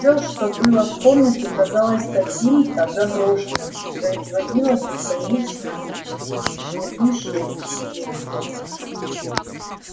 всё что было в комнате казалось каким-то заброшенным и производило бесконечно гнетущее впечатление